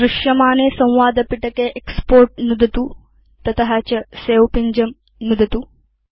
दृश्यमाने संवादपिटके एक्स्पोर्ट् नुदतु तत च सवे पिञ्जं नुदतु